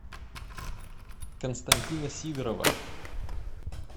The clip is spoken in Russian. константина сидорова